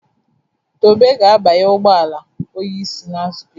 Tobe ga-abanye ụgbọ ala onye isi na nzukọ echi